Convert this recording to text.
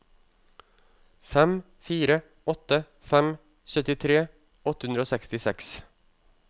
fem fire åtte fem syttitre åtte hundre og sekstiseks